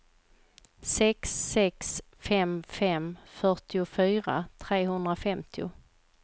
sex sex fem fem fyrtiofyra trehundrafemtio